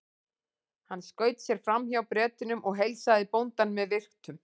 Hann skaut sér fram hjá Bretunum og heilsaði bóndanum með virktum.